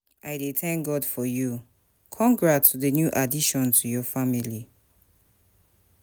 I dey thank God for you, congrats to di new addition to your family